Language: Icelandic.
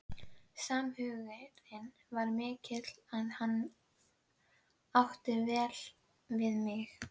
Samhugurinn var mikill og hann átti vel við mig.